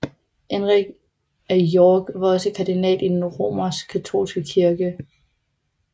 Henrik af York var også kardinal i den Romerskkatolske kirke